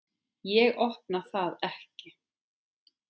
Ég opna það ekki.